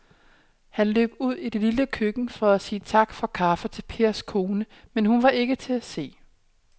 Han løb ud i det lille køkken for at sige tak for kaffe til Pers kone, men hun var ikke til at se.